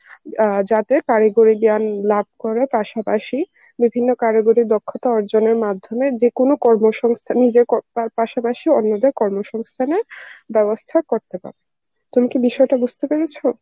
আহ যাতে কারিগরী জ্ঞান লাব করার পাসা পাসি বিভিন্ন কারিগরি দক্ষতা অর্জনের মাধ্যমে যে কোন কর্মসংস্থা নিজের কর্ম~ তার পাসা পাসি অন্যদের কর্মসংস্থানের বেবস্থা করতে পারবে. তুমি কি বিষয়টা বুঝতে পেরেছ?